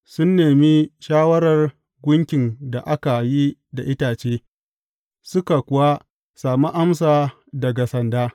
Sun nemi shawarar gunkin da aka yi da itace suka kuwa sami amsa daga sanda.